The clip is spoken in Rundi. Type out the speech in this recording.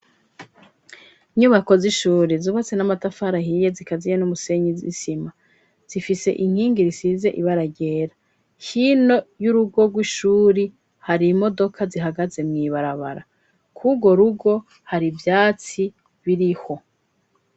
Inyubako z'ishuri zubatse n'amatafari ahiye zikaziye n'umusenyi isima. Zifise inkingi risize ibara ryera. Hino y'urugo rw'ishuri hari imodoka zihagaze mw'ibarabara. K'urwo rugo, hari ivyatsi biriho.